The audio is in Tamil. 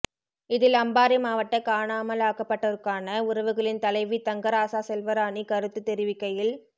இதில் அம்பாறை மாவட்ட காணாமலாக்கப்டோருக்கான உறவுகளின் தலைவி தங்கராசா செல்வராணி கருத்து தெரிவிக்கையில்